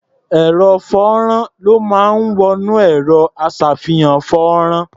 Àwo-fọ́nrán ló máa ń wọ inú ẹ̀rọ-aṣàfihàn-fọ́nrán.